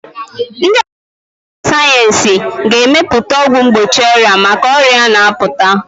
Ndị ọkà mmụta sayensị ga-emepụta ọgwụ mgbochi ọrịa maka ọrịa na-apụta.